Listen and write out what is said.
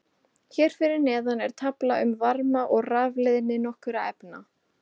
Hér fyrir neðan er tafla um varma- og rafleiðni nokkurra efna.